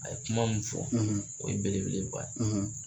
A ye kuma min fɔ o ye belebele ba ye.